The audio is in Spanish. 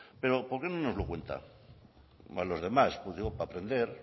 pero por qué no nos lo cuenta a los demás digo para aprender